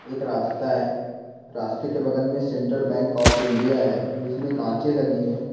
एक रास्ता है रास्ते के बगल मे सेन्ट्रल बैंक ऑफ़ इंडिया है जिसमे कांचे लगी है।